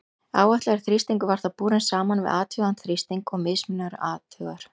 Áætlaður þrýstingur var þá borinn saman við athugaðan þrýsting og mismunur athugaður.